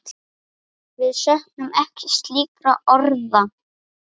Við söknum ekki slíkra orða.